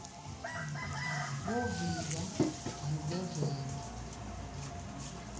ku vika vugevenga